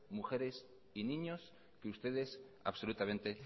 mujeres y niños que ustedes absolutamente